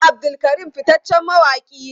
Idris Abdulkarim fitaccen mawaki ne.